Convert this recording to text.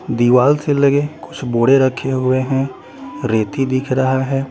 दीवाल से लगे कुछ बोरे रखे हुए हैं रेती दिख रहा हैं।